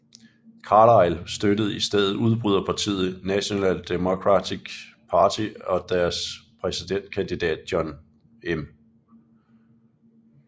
Carlisle støttede i stedet udbryderpartiet National Democratic Party og deres præsidentkandidat John M